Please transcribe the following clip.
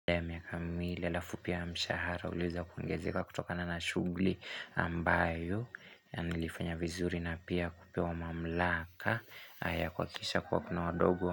Ule miaka miwili alafu pia mshahara uliweza kuongezeka kutokana na shugli ambayo yanilifanya vizuri na pia kupewa mamlaka ya kuhakikisha kuwa kuna wadogo.